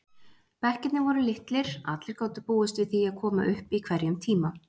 Bekkirnir voru litlir, allir gátu búist við því að koma upp í hverjum tíma.